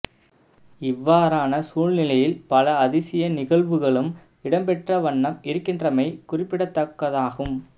இவ்வாறான சூழ்நிலையில் பல அதிசய நிகழ்வுகளும் இடம்பெற்ற வண்ணம் இருக்கின்றமை குறிப்பிடத்தக்கதாகும்